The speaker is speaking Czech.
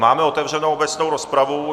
Máme otevřenou obecnou rozpravu.